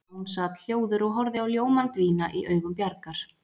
Jón sat hljóður og horfði á ljómann dvína í augum Bjargar.